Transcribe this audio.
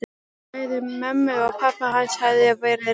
Bæði mömmu og pabba hans hafði verið rænt.